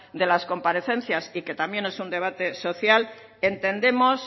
de las comparecencias y que también es un debate social entendemos